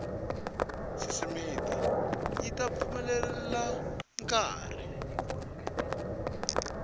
sisitimi yi ta pfumelela nkari